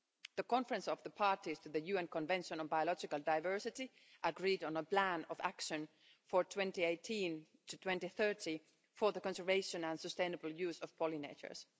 The Conference of the Parties to the UN Convention on Biological Diversity agreed on a plan of action for 2018 to 2030 for the conservation and sustainable use of pollinators.